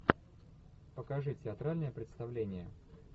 покажи театральное представление